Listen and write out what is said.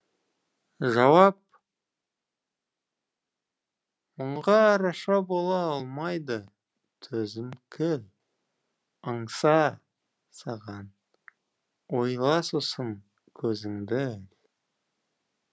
жауап мұңға араша бола алмайды төзім кіл аңса ойла сосын көзіңді